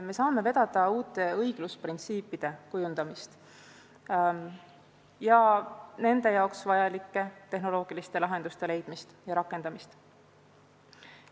Me saame vedada uute õiglusprintsiipide kujundamist ja nende jaoks vajalike tehnoloogiliste lahenduste leidmist ja rakendamist.